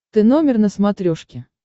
ты номер на смотрешке